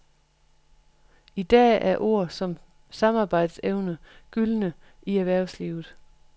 I dag er ord som samarbejdsevne gyldne i erhvervslivet.